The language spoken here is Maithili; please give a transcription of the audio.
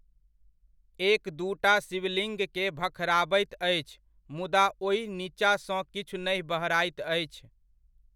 एक दूटा शिवलिङ्गकेँ भखराबैत अछि मुदा ओहि नीचाँसँ किछु नहि बहराइत अछि।